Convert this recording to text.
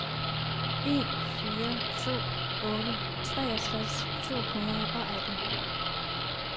en fire to otte treogtres to hundrede og atten